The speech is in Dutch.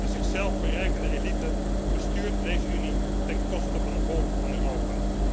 Een zichzelf verrijkende elite bestuurt deze Unie ten koste van de volken van Europa.